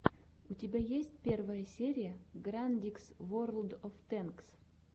у тебя есть первая серия грандикс ворлд оф тэнкс